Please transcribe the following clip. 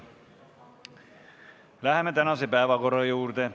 Läheme tänaste päevakorrapunktide juurde.